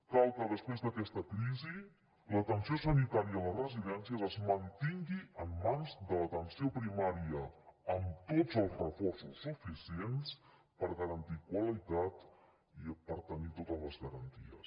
cal que després d’aquesta crisi l’atenció sanitària a les residències es mantingui en mans de l’atenció primària amb tots els reforços suficients per garantir qualitat i per tenir totes les garanties